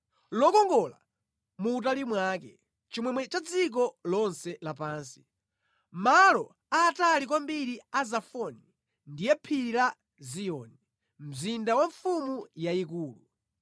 Lokongola mu utali mwake, chimwemwe cha dziko lonse lapansi. Malo aatali kwambiri a Zafoni ndiye Phiri la Ziyoni, mzinda wa Mfumu yayikulu.